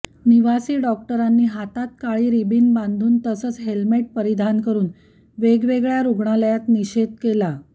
निवासी डाॅक्टरांनी हातात काळी रिबीन बांधून तसंच हेल्मेट परिधान करून वेगवेगळ्या रुग्णालयात निषेध केला